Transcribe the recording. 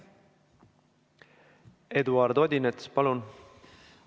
Eduard Odinets, palun!